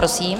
Prosím.